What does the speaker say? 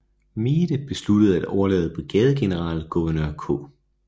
Meade besluttede at lade brigadegeneral Gouverneur K